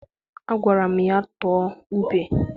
Agwara m ya, tụọ ube!